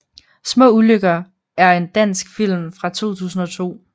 Små ulykker er en dansk film fra 2002